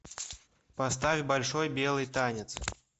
поставь большой белый танец